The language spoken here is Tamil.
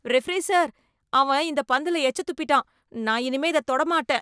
ரெஃபரி சார், அவன் இந்த பந்துல எச்சத் துப்பிட்டான், நான் இனிமே இத தொடமாட்டேன்.